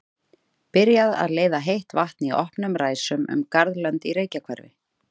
Byrjað að leiða heitt vatn í opnum ræsum um garðlönd í Reykjahverfi.